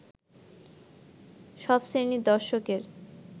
সব শ্রেণীর দর্শকের